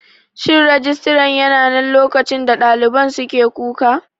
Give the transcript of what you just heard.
Shin Rijistaran yananan lokacin da ɗaliban suke kuka?